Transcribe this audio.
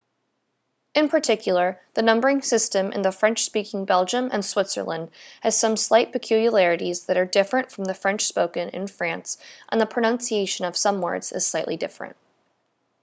in particular the numbering system in french-speaking belgium and switzerland has some slight peculiarities that are different from the french spoken in france and the pronunciation of some words is slightly different